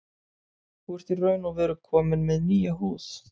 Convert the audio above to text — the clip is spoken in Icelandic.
Þú ert í raun og veru kominn með nýja húð.